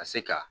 Ka se ka